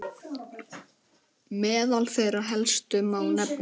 Meðal þeirra helstu má nefna